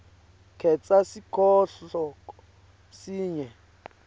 khetsa sihloko sinye